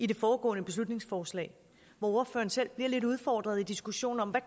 det foregående beslutningsforslag hvor ordføreren selv bliver lidt udfordret i diskussionen om hvad